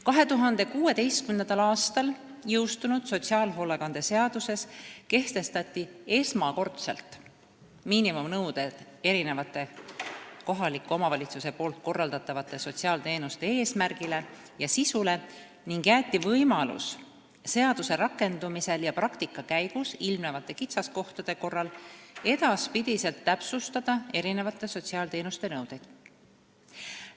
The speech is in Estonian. " 2016. aastal jõustunud sotsiaalhoolekande seaduses kehtestati esmakordselt miinimumnõuded kohaliku omavalitsuse korraldatavate sotsiaalteenuste eesmärgile ja sisule ning jäeti võimalus seaduse rakendumisel ja praktika käigus ilmnevate kitsaskohtade korral edaspidi täpsustada sotsiaalteenuste nõudeid.